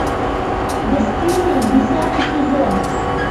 бесстыжие десятый сезон